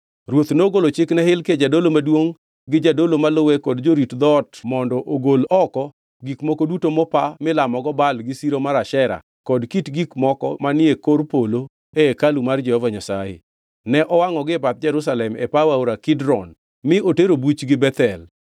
Ruoth nogolo chik ne Hilkia jadolo maduongʼ, gi jodolo maluwe kod jorit dhoot mondo ogol oko gik moko duto mopa milamogo Baal gi siro mar Ashera kod kit gik moko manie kor polo e hekalu mar Jehova Nyasaye. Ne owangʼogi e bath Jerusalem e paw aora Kidron mi otero buchgi Bethel.